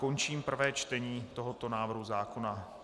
Končím prvé čtení tohoto návrhu zákona.